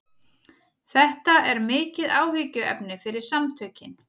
Þetta er mikið áhyggjuefni fyrir samtökin